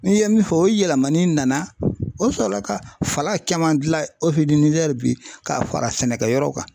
N'i ye min fɔ o ye yɛlɛmali nana o sɔrɔ ka fala kɛ mandi bi k'a fara sɛnɛkɛyɔrɔ kan.